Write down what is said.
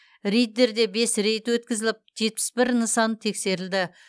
риддерде бес рейд өтіп жетпіс бір нысан тексерілді